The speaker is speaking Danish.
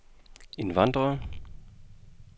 indvandrere